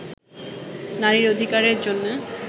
নারীর অধিকারের জন্য